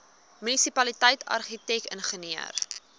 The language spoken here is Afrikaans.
munisipaliteit argitek ingenieur